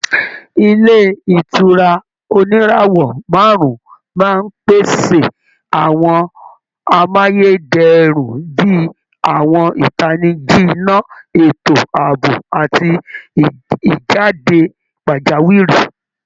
Ilé ìtura oníràwọ̀ márùn-ún máa ń pèsè àwọn amáyé dẹrùn bí i àwọn ìtanijí iná, ètò ààbò àti ìjáde pajawiri